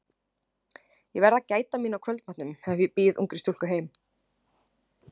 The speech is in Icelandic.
Ég verð að gæta mín á kvöldmatnum ef ég býð ungri stúlku heim.